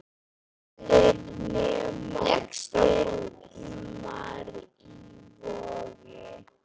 Allir nema Brimar í Vogi.